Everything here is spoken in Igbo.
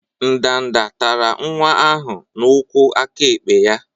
Ndanda tara nwa ahụ n'ụkwụ aka ekpe ya.